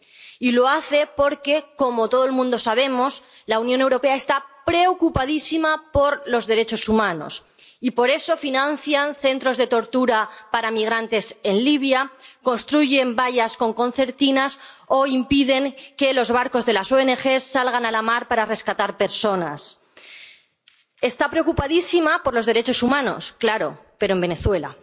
Y lo hace porque, como todos sabemos, la Unión Europea está preocupadísima por los derechos humanos y por eso financia centros de tortura para migrantes en Libia, construye vallas con concertinas o impide que los barcos de las ONG salgan a la mar para rescatar personas. Está preocupadísima por los derechos humanos, claro, pero en Venezuela.